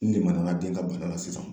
N lemaniya l den ka bana la sisan